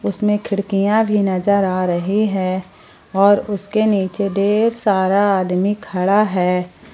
इसमें खिड़कियां भी नजर आ रही है और उसके नीचे ढेर सारा आदमी खड़ा है।